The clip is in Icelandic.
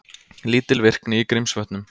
Lítil virkni í Grímsvötnum